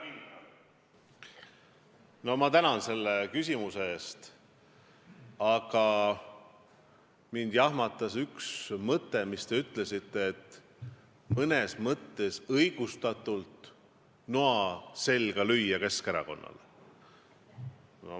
Härra kindral, ma tänan selle küsimuse eest, aga mind jahmatas üks mõte, mida te väljendasite, et mõnes mõttes õigustatult võib Keskerakonnale noa selga lüüa.